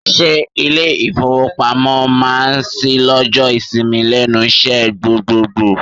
Ṣé ilé ìfowópamọ́ máa ṣí lọ́jọ́ ìsinmi lẹ́nu iṣẹ́ gbogboògbò?